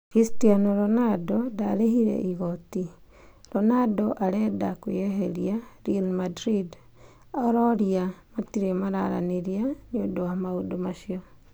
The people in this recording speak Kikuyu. Christiano Ronaldo ndarĩbire igoti, Ronaldo arenda kwĩeberia 'Real Madrid ororia matire mararaniria niundu wa maũndu acu